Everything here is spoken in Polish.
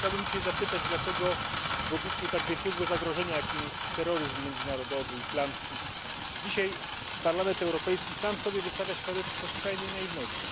Chciałbym dzisiaj zapytać, dlaczego w obliczu tak wielkiego zagrożenia, jakim jest terroryzm międzynarodowy islamski, dzisiaj Parlament Europejski sam sobie wystawia świadectwo skrajnej naiwności?